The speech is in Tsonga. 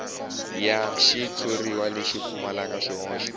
ya xitshuriwa lexi pfumalaka swihoxo